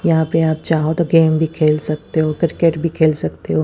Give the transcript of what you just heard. यहां पे आप चाहो तो गेम भी खेल सकते हो क्रिकेट भी खेल सकते हो।